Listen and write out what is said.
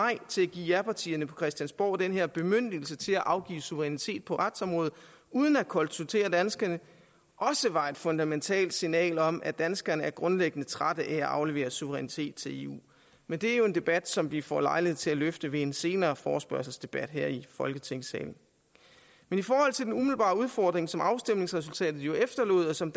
japartierne på christiansborg den her bemyndigelse til at afgive suverænitet på retsområdet uden at konsultere danskerne også var et fundamentalt signal om at danskerne er grundlæggende trætte af at afgive suverænitet til eu men det er jo en debat som vi får lejlighed til at løfte ved en senere forespørgselsdebat her i i folketingssalen men i forhold til den umiddelbare udfordring som afstemningsresultatet efterlod og som